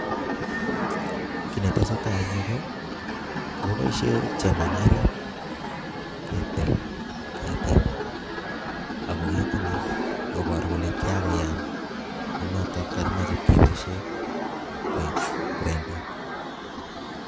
Kiy ne tesetai eng yu ko kakibaishe chemangiret ketil ketik ako keti ni koboru kole kiyakoyam ne notok kakimache kweboishe koek kwendet.